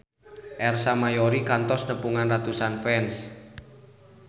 Ersa Mayori kantos nepungan ratusan fans